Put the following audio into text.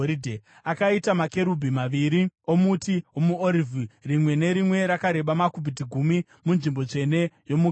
Akaita makerubhi maviri omuti womuorivhi, rimwe nerimwe rakareba makubhiti gumi , munzvimbo tsvene yomukati.